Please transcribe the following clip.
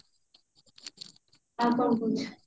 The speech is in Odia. ଆଉ କଣ କହୁଛୁ